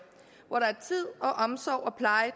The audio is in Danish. hvor der er tid omsorg og pleje